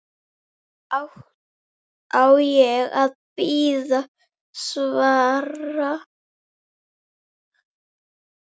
Á ég að bíða svars?